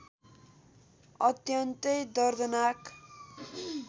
अत्यन्तै दर्दनाक